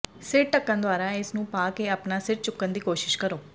ਸਿਰ ਢੱਕਣ ਦੁਆਰਾ ਇਸ ਨੂੰ ਪਾ ਕੇ ਆਪਣਾ ਸਿਰ ਚੁੱਕਣ ਦੀ ਕੋਸ਼ਿਸ਼ ਕਰੋ